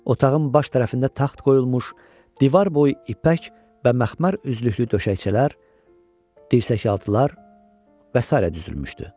Otağın baş tərəfində taxt qoyulmuş, divar boyu ipək və məxmər üzlüklü döşəkçələr, dirsəkaltılar və sairə düzülmüşdü.